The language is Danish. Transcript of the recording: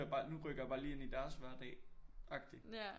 Nu rykker jeg bare lige ind i deres hverdag agtig